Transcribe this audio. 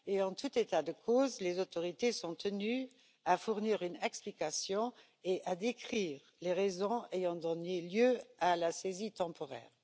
En tout état de cause, les autorités sont tenues de fournir une explication et de décrire les raisons ayant donné lieu à la saisie temporaire.